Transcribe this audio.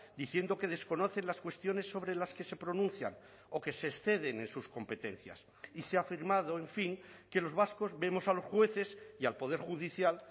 diciendo que desconocen las cuestiones sobre las que se pronuncian o que se exceden en sus competencias y se ha afirmado en fin que los vascos vemos a los jueces y al poder judicial